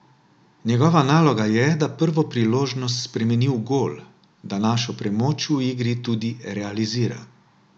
Njegova naloga je, da prvo priložnost spremeni v gol, da našo premoč v igri tudi realizira.